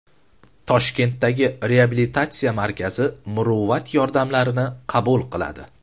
Toshkentdagi Reabilitatsiya markazi muruvvat yordamlarini qabul qiladi.